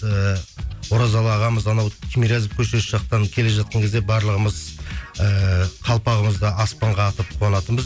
ііі оразалы ағамыз анау тимирязев көшесі жақтан келе жатқан кезде барлығымыз ііі қалпағымызды аспанға атып қуанатынбыз